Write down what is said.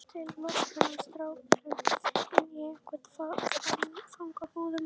Til að loka þennan strákling inni í einhverjum fangabúðum?